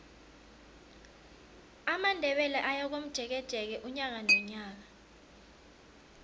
amandebele ayakomjekeje unyaka nonyaka